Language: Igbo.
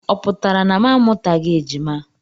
Ọ pụtara na m amụtaghị ejima?